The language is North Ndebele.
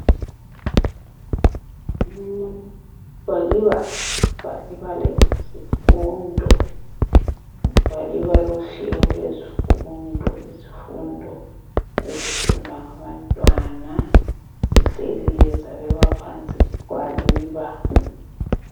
Igwaliba lezifundo, igwaliba lohlelo lwezifundo. Izifundo ezifundwa ngabantwana zihleliwe zabekwa phansi, gwaliba.